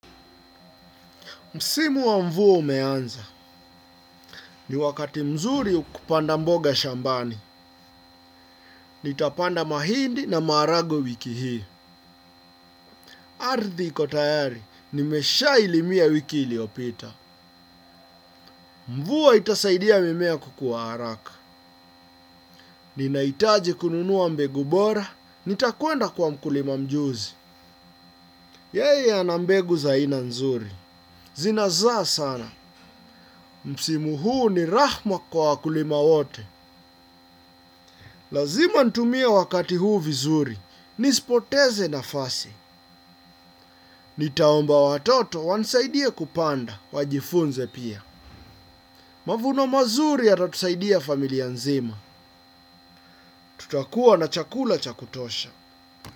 Msimu wa mvua umeanza. Ni wakati mzuri kupanda mboga shambani. Nitapanda mahindi na maharagwe wiki hii. Ardhi iko tayari. Nimeshailimia wiki iliyopita. Mvua itasaidia mimea kukua haraka. Ninahitaji kununua mbegu bora. Nitakwenda kwa mkulima mjuzi. Yeye ana mbegu za aina nzuri. Zinazaa sana. Msimu huu ni rahma kwa wakulima wote. Lazima nitumie wakati huu vizuri. Nisipoteze nafasi. Nitaomba watoto wanisaidia kupanda. Wajifunze pia. Mavuno mazuri yatatusaidia familia nzima. Tutakuwa na chakula cha kutosha.